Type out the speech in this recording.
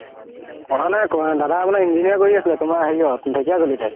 কৰা নাই কৰা দাদা আপোনাৰ engineering কৰি আছে তুমাৰ ধেকিয়া জুলিতে